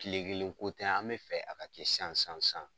Kile kelen ko tɛ an bɛ fɛ a ka kɛ san san san